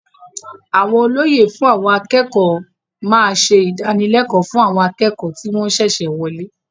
Àwọn olóyè fún àwọn akẹ́kọ̀ọ́ máa ṣe ìdánilẹ́kọ̀ọ́ fún àwọn akẹ́kọ̀ọ́ tí wọn ṣẹ̀ṣẹ̀ wọlé.